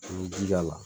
I bɛ ji k'a la